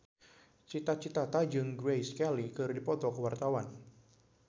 Cita Citata jeung Grace Kelly keur dipoto ku wartawan